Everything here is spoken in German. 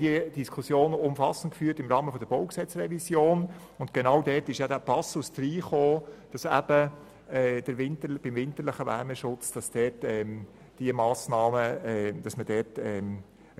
Wir haben diese Diskussion im Rahmen der BauG-Revision umfassend geführt, und genau dort haben wir den Passus aufgenommen, wonach beim winterlichen Wärmeschutz eine